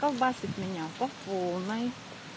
потряхивает меня по полной